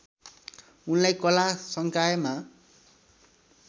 उनलाई कला संकायमा